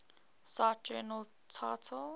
cite journal title